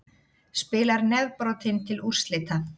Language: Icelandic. Spilar nefbrotinn til úrslita